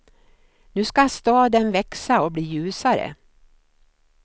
Nu skall staden växa och bli ljusare.